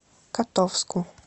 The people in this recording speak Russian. котовску